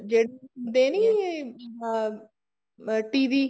ਜਿਹੜੇ ਹੁੰਦੇ ਨੀ ਅਮ TV